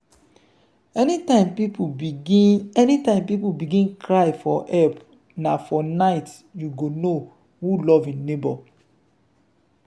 anytime pipo begin anytime pipo begin cry for help na for night you go know who love im neighbour.